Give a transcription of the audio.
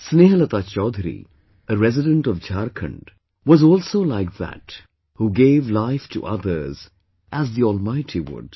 Snehlata Chaudhary, a resident of Jharkhand, was also like that who gave life to others as the Almighty would